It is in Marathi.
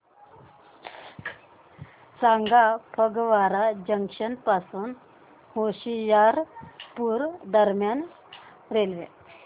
सांगा फगवारा जंक्शन पासून होशियारपुर दरम्यान रेल्वे